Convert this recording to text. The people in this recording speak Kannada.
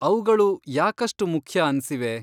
ಅವ್ಗಳು ಯಾಕಷ್ಟು ಮುಖ್ಯ ಅನ್ಸಿವೆ?